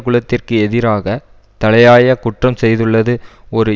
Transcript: குலத்திற்கு எதிராக தலையாய குற்றம் செய்துள்ளது ஒரு